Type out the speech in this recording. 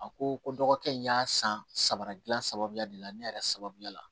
A ko ko dɔgɔkɛ in y'a san saba dilan sababu de la ne yɛrɛ sababuya la